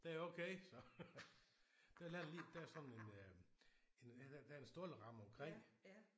Den er okay så. Den landede lige der sådan en en der er en stålramme omkring